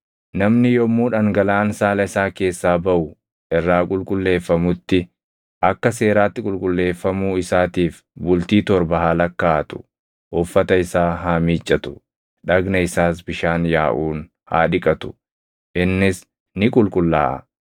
“ ‘Namni yommuu dhangalaʼaan saala isaa keessaa baʼu irraa qulqulleeffamutti akka seeraatti qulqulleeffamuu isaatiif bultii torba haa lakkaaʼatu; uffata isaa haa miiccatu; dhagna isaas bishaan yaaʼuun haa dhiqatu; innis ni qulqullaaʼa.